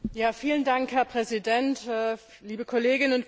Herr Präsident, liebe Kolleginnen und Kollegen!